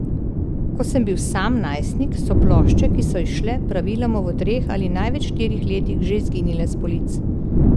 Ko sem bil sam najstnik, so plošče, ki so izšle, praviloma v treh ali največ štirih letih že izginile s polic.